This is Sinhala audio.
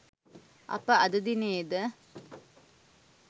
අප අද දිනයේද